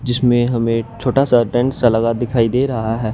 जिसमें हमें छोटा सा टेंट सा लगा दिखाई दे रहा है।